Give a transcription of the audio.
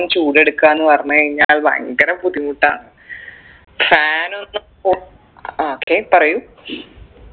ചൂടെടുക്കാ എന്നു പറഞ്ഞയ്ഞ്ഞാൽ അത് ഭയങ്കര ബുദ്ധിമുട്ടാ fan ഒന്നും ഒ ആ okay പറയൂ